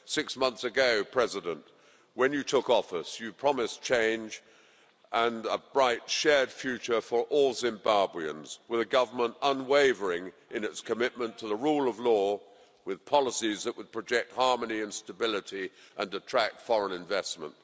President, six months ago, when you took office, you promised change and a bright, shared future for all Zimbabweans, with a government unwavering in its commitment to the rule of law, with policies that would project harmony and stability and attract foreign investment.